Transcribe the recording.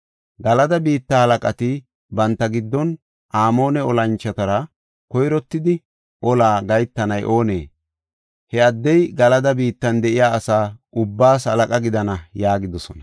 Galada biitta halaqati banta giddon, “Amoone olanchotara koyrottidi ola gahetanay oonee? He addey Galada biittan de7iya asa ubbaas halaqa gidana” yaagidosona.